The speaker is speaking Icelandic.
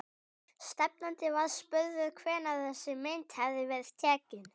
Stefnandi var spurður hvenær þessi mynd hefði verið tekin?